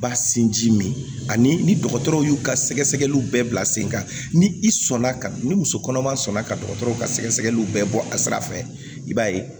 Ba sinji min ani ni dɔgɔtɔrɔ y'u ka sɛgɛsɛgɛliw bɛɛ bila sen kan ni i sɔnna ka ni muso kɔnɔma sɔnna ka dɔgɔtɔrɔ ka sɛgɛsɛgɛliw bɛɛ bɔ a sira fɛ i b'a ye